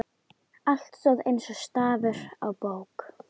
Allt stóð eins og stafur á bók.